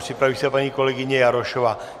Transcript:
Připraví se paní kolegyně Jarošová.